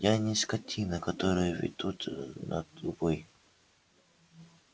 я не скотина которую ведут на убой